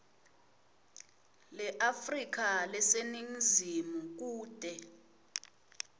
leafrika leseningizimu kute